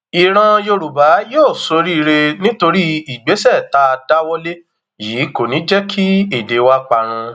ìran yorùbá yóò soríire nítorí ìgbésẹ tá a dáwọ lé yìí kò ní í jẹ kí èdè wa parun